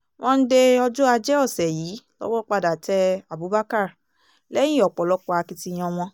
monde ọjọ́ ajé ọ̀sẹ̀ yìí lowó padà tẹ abubakar lẹ́yìn ọ̀pọ̀lọpọ̀ akitiyan wọn